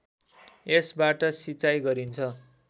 यसबाट सिँचाइ गरिन्छ